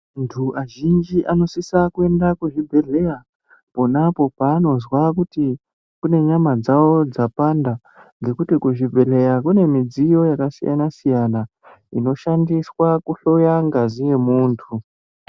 Antu azhinji anosisa kuenda kuzvibhadhlera ponapo paanozwa kuti kune nyama dzawo dzapanda ngekuti kuzvibhadhlera kune midziyo yakasiyana-siyana inoshandiswa kuhloya ngazi yemuntu.